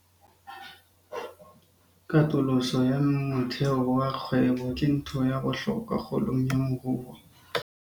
Katoloso ya motheo wa kgwebo ke ntho ya bohlokwa kgolong ya moruo.